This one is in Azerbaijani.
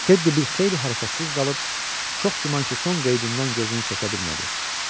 Tedi bir xeyli hərəkətsiz qalıb, çox güman ki, son qeydindən gözünü çəkə bilmədi.